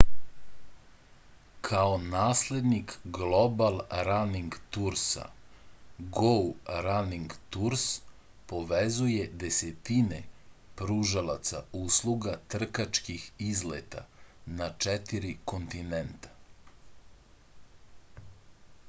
kao naslednik global raning tursa gou raning turs povezuje desetine pružalaca usluga trkačkih izleta na četiri kontinenta